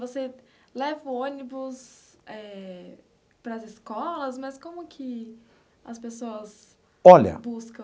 Você leva o ônibus eh para as escolas, mas como que as pessoas. Olha. Buscam?